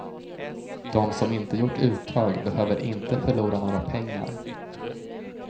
De som inte gjort uttag behöver inte förlora några pengar.